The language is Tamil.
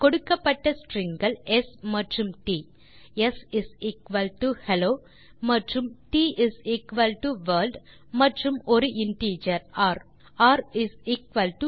கொடுக்கப்பட்ட stringகள் ஸ் மற்றும் ட் ஸ் ஹெல்லோ மற்றும் ட் வர்ல்ட் மற்றும் ஒரு இன்டிஜர் ர் ர் 2